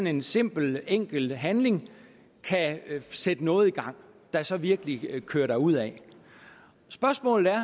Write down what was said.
en simpel enkel handling kan sætte noget i gang der så virkelig kører derudad spørgsmålet er